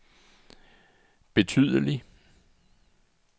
betydelig